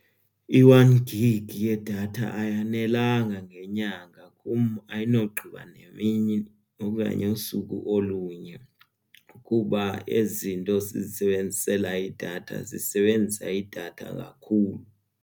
I-one gig yedatha ayanelanga ngenyanga kum ayinogqiba nemini okanye usuku olunye kuba ezi zinto sizisebenzisela idatha zisebenzisa idatha kakhulu.